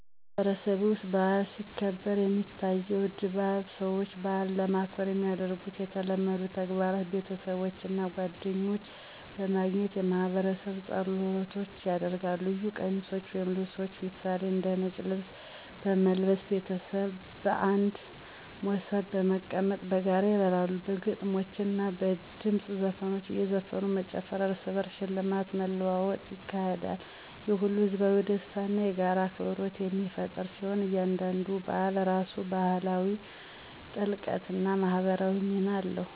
በማህበረሰቤ ውስጥ በዓል ሲከበር፣ የሚታየው ድባብ ሰዎች በዓልን ለማክበር የሚያደርጉት የተለመዱ ተግባራት ቤተሰቦች እና ጓደኞች በማግኘት የማህበረሰብ ጸሎቶች ይደረጋል ልዩ ቀሚሶችን ወይም ልብሶችን ምሳሌ፦ እንደ ነጭ ልብስ በመልበስ ቤተሰቦች በአንድ ሞሰብ በመቀመጥ በጋራ ይበላሉ በግጥሞች እና በድምፅ ዘፈኖች እዘፈኑ መጨፈር እርስ በርስ ሽልማት መለዋወጥ ይካሄዳል። ይህ ሁሉ ህዝባዊ ደስታን እና የጋራ አክብሮትን የሚፈጥር ሲሆን፣ እያንዳንዱ በዓል የራሱ ባህላዊ ጥልቀት እና ማህበራዊ ሚና አለው።